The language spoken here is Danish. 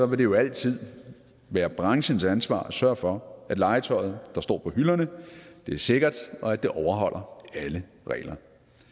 vil det jo altid være branchens ansvar at sørge for at legetøjet der står på hylderne er sikkert og at det overholder alle regler